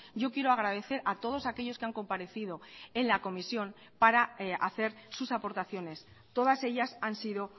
yo quiero agradecer a todos aquellos que han comparecido en la comisión para hacer sus aportaciones todas ellas han sido